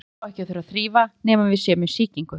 Nefið á ekki að þurfa að þrífa nema við séum með sýkingu.